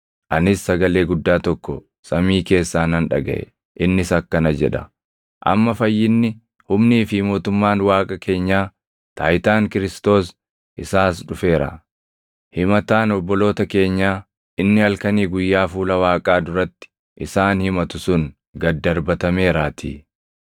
Anis sagalee guddaa tokko samii keessaa nan dhagaʼe; innis akkana jedha: “Amma fayyinni, humnii fi mootummaan Waaqa keenyaa, taayitaan Kiristoos + 12:10 yookaan Masiihii isaas dhufeera. Himataan obboloota keenyaa inni halkanii guyyaa fuula Waaqaa duratti, isaan himatu sun gad darbatameeraatii.